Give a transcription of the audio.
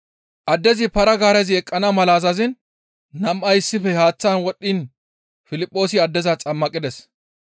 Addezi para-gaarezi eqqana mala azaziin nam7ay issife haaththan wodhdhiin Piliphoosi addeza xammaqides.